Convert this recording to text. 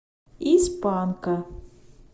из панка